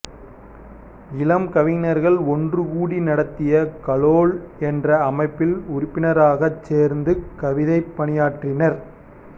இளம் கவிஞர்கள் ஒன்று கூடி நடத்திய கலோல் என்ற அமைப்பில் உறுப்பினராகச் சேர்ந்து கவிதைப் பணியாற்றினார்